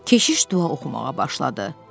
Keşiş dua oxumağa başladı.